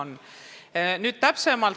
Nüüd asjast täpsemalt.